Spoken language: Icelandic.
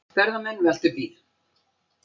Ferðamenn veltu bíl